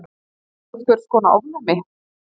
Einhvers konar ofnæmi.